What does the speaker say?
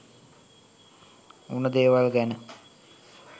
උන දේවල් ගැන